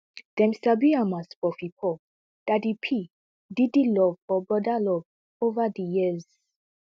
dem sabi am as puffy puff daddy p diddy love or brother love ova di years